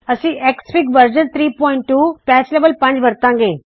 ਅਸੀ XFIG version 32 patch level 5 ਵਰਤਾੰ ਗੇ